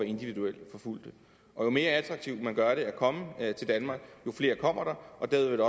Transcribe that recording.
individuelt forfulgte og jo mere attraktivt man gør det at komme til danmark jo flere kommer der og derved